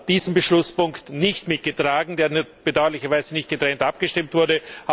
diesen Beschlusspunkt nicht mitgetragen, über den bedauerlicherweise nicht getrennt abgestimmt wurde.